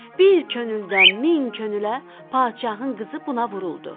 Bir könüldən min könülə padşahın qızı buna vuruldu.